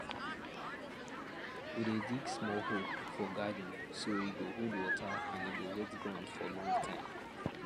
we dey dig small hole for garden so e go hold water and e go wet ground for long time